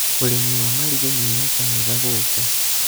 ũrĩmi wa maringũ nĩ ũreka wega gũku